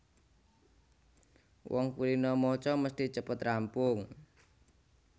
Wong kulina maca mesthi cepet rampung